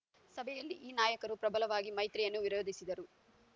ಸಭೆಯಲ್ಲಿ ಈ ನಾಯಕರು ಪ್ರಬಲವಾಗಿ ಮೈತ್ರಿಯನ್ನು ವಿರೋಧಿಸಿದರು